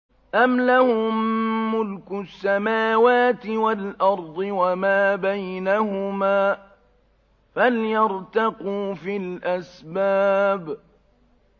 أَمْ لَهُم مُّلْكُ السَّمَاوَاتِ وَالْأَرْضِ وَمَا بَيْنَهُمَا ۖ فَلْيَرْتَقُوا فِي الْأَسْبَابِ